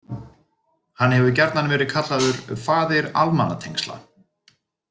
Hann hefur gjarnan verið kallaður „faðir almannatengsla“.